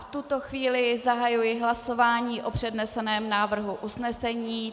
V tuto chvíli zahajuji hlasování o předneseném návrhu usnesení.